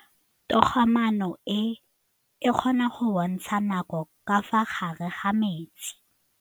Toga-maanô e, e kgona go bontsha nakô ka fa gare ga metsi.